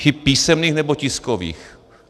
Chyb písemných nebo tiskových.